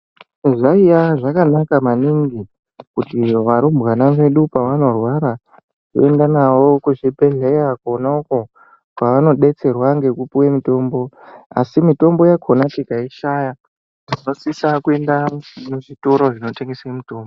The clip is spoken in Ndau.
Zvaiya zvakanaka maningi kuti varumbwana vedu pavanorwara toenda navo kuzvibhedhlera kona uko kwavanodetserwa ngekupuwa mutombo, asi mitombo yakona tikaishaya tinosise kuenda kuzvitoro zvinotengesa mutombo.